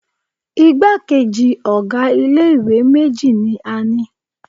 Igbákejì ọ̀ga ilé ìwé méjì ní a ni.